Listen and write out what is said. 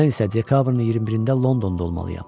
Mən isə dekabrın 21-də Londonda olmalıyam.